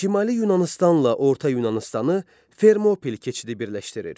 Şimali Yunanıstanla Orta Yunanıstanı Fermopil keçidi birləşdirir.